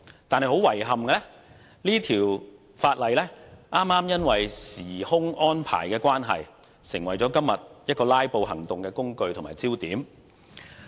但是，很遺憾，這項《條例草案》因為時間安排的關係，成為今天"拉布"行動的工具和焦點。